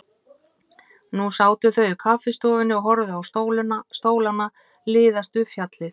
Nú sátu þau í kaffistofunni og horfðu á stólana liðast upp fjallið.